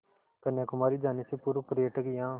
कन्याकुमारी जाने से पूर्व पर्यटक यहाँ